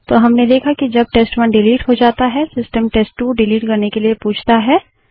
तो हमने देखा कि जब टेस्ट1 डिलीट हो जाता है सिस्टम टेस्ट2 डिलीट करने से पहले पूछता है